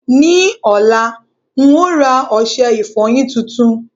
Ní ọ̀la, n óò ra ọṣẹ ìfọyín tuntun.